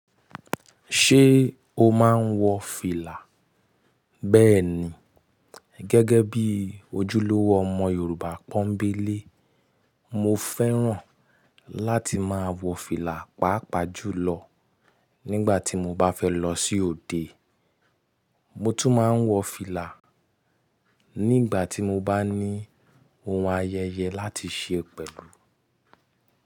Ṣé o máa ń wọ fìlà? Bẹ́ẹ̀ni, gẹ́gẹ́ bí ojúlówó ọmọ Yorùbá pọ́ńbélé, mo fẹ́ràn láti máa wọ fìlà, pàápàá jùlọ nígbà tí mo bá fẹ́ lọ sí òde. Mo tún máa ń wọ fìlà nígbà tí mo bá ní ohun ayẹyẹ láti ṣe pẹ̀lú.